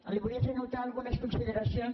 li volia fer notar algunes consideracions